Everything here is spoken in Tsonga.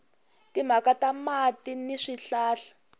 timhaka ta mati ni swihlahla